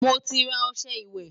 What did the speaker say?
moti rà ọsẹ ìwé